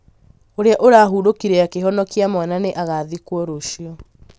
ũrĩa ũrahũrũkire akĩhonokia mwana nĩ agathikwo rũciũ